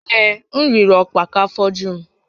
Ee, m riri ọkpa ka afọ ju m